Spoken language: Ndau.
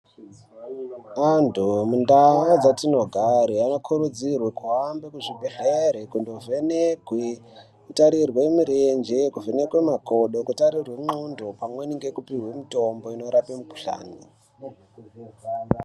Antu mundaa dzatinogare anokurudzirwe kuhambe kuzvibhedhleri kundovhenekwe kutarirwe murenje kuvhenekwe makodo kutarirwe ndxondo pamweni nekupihwe mutombo inorape mukhulani.